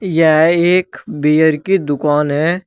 यह एक बीयर कि दुकान है।